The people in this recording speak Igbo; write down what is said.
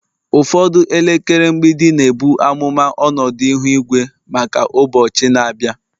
Ụfọdụ elekere mgbidi na-ebu amụma ọnọdụ ihu igwe maka ụbọchị na-abịa